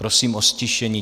Prosím o ztišení.